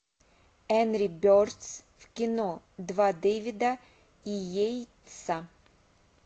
энри бердс в кино два дэвида и яйца